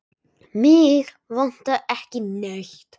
Mig vantar ekki neitt.